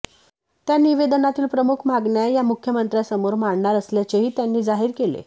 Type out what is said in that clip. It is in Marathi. त्या निवेदनातील प्रमुख मागण्या या मुख्यमंत्र्यासमोर मांडणार असल्याचेही त्यांनी जाहीर केले